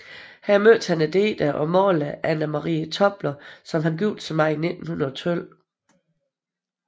Her mødte han digteren og maleren Anna Maria Tobler som han giftede sig med i 1912